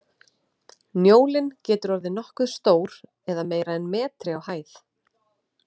Njólinn getur orðið nokkuð stór eða meira en metri á hæð.